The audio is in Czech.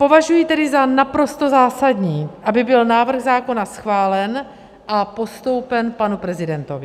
Považuji tedy za naprosto zásadní, aby byl návrh zákona schválen a postoupen panu prezidentovi.